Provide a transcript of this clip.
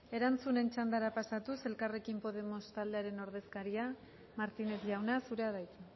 erantzunen txandara pasatuz elkarrekin podemos taldearen ordezkaria martínez jauna zurea da hitza